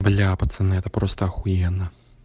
бля пацаны это просто ахуенно